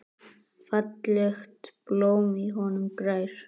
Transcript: Fallegt blóm í honum grær.